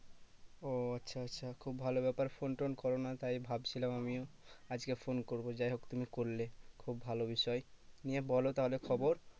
ও আচ্ছা আচ্ছা খুব ভালো ব্যাপার phone টোন করোনা তাই ভাবছিলাম আমিও আজকে phone করবো যাই হোক তুমি করলে খুব ভালো বিষয় নিয়ে বলো তাহলে খবর